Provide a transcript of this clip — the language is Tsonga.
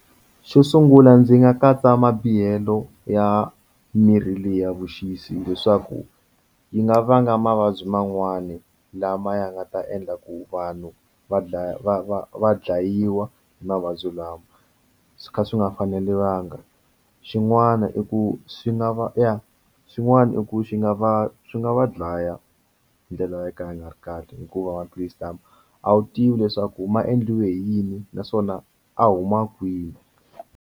Xo sungula ndzi nga katsa mabihelo ya mirhi leyi ya vuxisi leswaku yi nga vanga mavabyi man'wani lama ya nga ta endla ku vanhu va dlaya va va va dlayiwa mavabyi lawa swi kha swi nga faneriwanga xin'wana i ku swi nga va ya xin'wana i ku xi nga va swi nga va dlaya hi ndlela yo ka ya nga ri kahle hikuva maphilisi lama a wu tivi leswaku ma endliwe hi yini naswona a huma kwini.